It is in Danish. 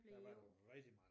Der var der rigtig mnage